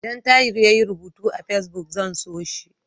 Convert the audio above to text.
Idan Tahir yayi rubutu a Fesbuk, zan so shi.